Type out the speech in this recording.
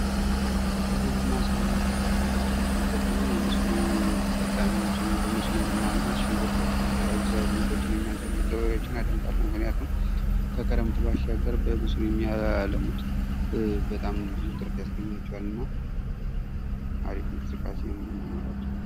ከግብርና ስራዎች መካከል እኔ ማድነቅ የምፈልገው የመስኖ ተጠቃሚዎችን በመጠቀም ሽንኩርቶችን የተለያዩ አዝመሮችን የሚያዝምሩ ገበሬዎችን አደንቃለሁ ምክንያቱም ከክረምት ባሻገር በመስኖ የሚያለሙት ብዙ ትርፍ ያስገኝላቸዋልና አሪፍ እንቅስቃሴ ነው።